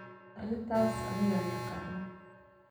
Arintas aniga yaqana.